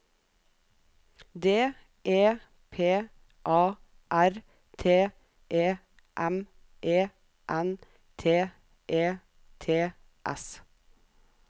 D E P A R T E M E N T E T S